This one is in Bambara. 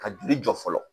Ka joli jɔ fɔlɔ